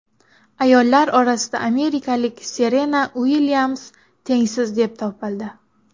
Ayollar orasida amerikalik Serena Uilyams tengsiz deb topildi.